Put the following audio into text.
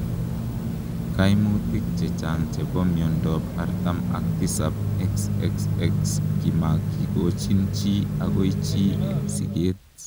Kaimutik chechang chepoo miondoop artam ak tisaap XXX komakikochiin chi agoi chii eng sikeet